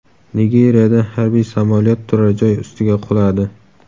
Nigeriyada harbiy samolyot turar-joy ustiga quladi.